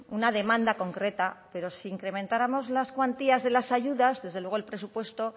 una demanda concreta pero si incrementáramos las cuantías de las ayudas desde luego el presupuesto